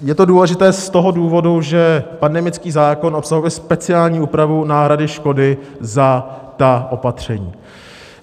Je to důležité z toho důvodu, že pandemický zákon obsahuje speciální úpravu náhrady škody za ta opatření.